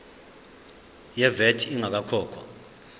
ye vat ingakakhokhwa